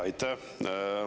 Jaa, aitäh!